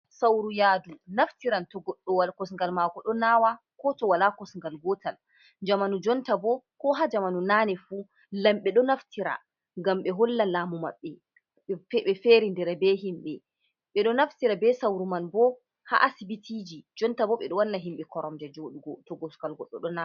Sauru yaadu, naftiran to goɗɗo kosungal maako ɗo naawa, ko to wala kosungal gootal. Jamanu jonta bo, ko haa jamanu naane fuu, lamɓe ɗo naftira ngam ɓe holla laamu maɓɓe, ɓe ferindira be himɓe. Ɓe ɗo naftira be sauru man bo haa asibitiji, jonta bo ɓe ɗo wanna himɓe koromje jooɗugo, to kosungal goɗɗo ɗo naawa.